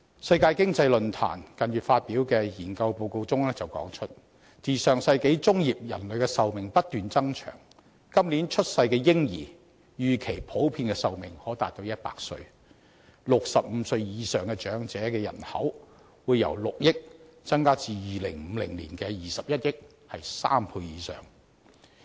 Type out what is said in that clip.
世界經濟論壇近月發表的研究報告指出，自上世紀中葉人類的壽命不斷延長，今年出生的嬰兒預期普遍壽命可達100歲 ，65 歲以上長者人口會由6億人增至2050年的21億人，增加3倍以上。